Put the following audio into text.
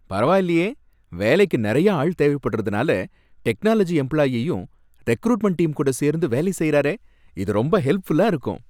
பரவாயில்லயே! வேலைக்கு நிறையா ஆள் தேவைப்படுறதுனால டெக்னாலஜி எம்ப்ளாயீயும் ரெக்ரூட்மெண்ட் டீம் கூட சேர்ந்து வேலை செய்யுறாரே, இது ரொம்ப ஹெல்ப்ஃபுல்லா இருக்கும்